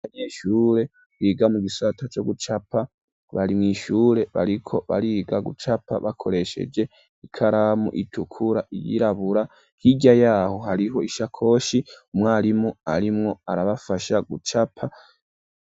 Anyeshure biga mu gisata co gucapa bari mwishure bariko bariga gucapa bakoresheje ikaramu itukura, iyirabura hirya yaho hariho ishakoshi, umwarimu arimwo arabafasha gucapa.